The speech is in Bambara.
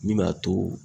Min b'a to